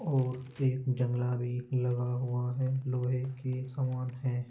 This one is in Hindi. और एक जंगला भी लगा हुआ हैं। लोहे की समान हैं।